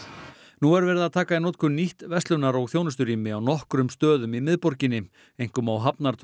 nú er verið að taka í notkun nýtt verslunar og þjónusturými á nokkrum stöðum í miðborginni einkum á